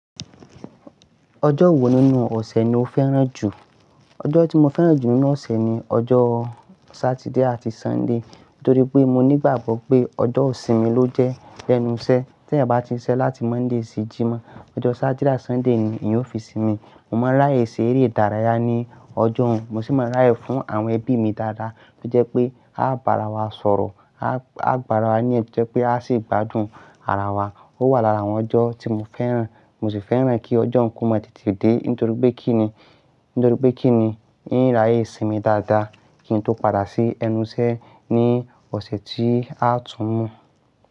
Ojo wo ninu ose ni o feran ju? Ojo ti mo feran ju ninu ose ni ojo Saturday ati Sunday. Nitori pe mo nigbagbo pe ojo isinmi lo je lenu ise. Ti eyan ba ti n sise lati Monday si jimoh, ojo Saturday ati Sunday ni eyan yo fi sinmi. Mo ma raye sere idaraya ni ojo hun. Mo si ma raye fun awon ebi mi dada, to je pe a o ba ara wa soro, a o gba ara wa niyanju to je pe a si gbadun ara wa. O wa lara awọn ojo ti mo feran. Mo si feran ki ojo nkán mo tete de nitori pe kini, nitori pe kini n yi raye sinmi dada kin to pada si ẹnu ise ni ose ti a tun mọ.